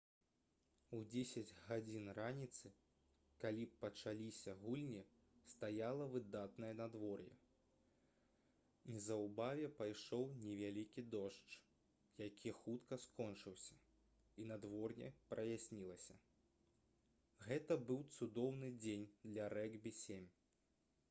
у 10:00 раніцы калі пачаліся гульні стаяла выдатнае надвор'е неўзабаве пайшоў невялікі дождж які хутка скончыўся і надвор'е праяснілася гэта быў цудоўны дзень для рэгбі-7